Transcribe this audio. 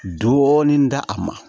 Dɔɔnin d'a ma